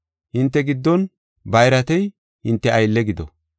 Hinte giddon bayratey hinte aylle gido.